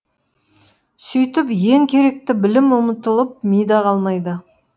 сөйтіп ең керекті білім ұмытылып мида қалмайды